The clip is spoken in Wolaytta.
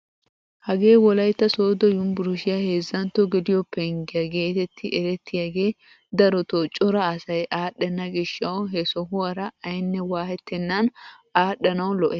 Hagee wolaytta sooddo yunburushiyaa heezzantto geliyo penggiyaa getetti erettiyaagee darotoo cora asay adhdhenna giishshawu he sohuwaara aynne waayettenan adhdhanawu lo"ees!